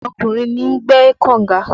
Ọkùnrin ni ń gbẹ́ kọ̀nga